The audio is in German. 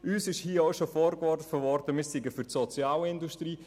Es ist uns vorgeworfen worden, wir seien für die Sozialindustrie.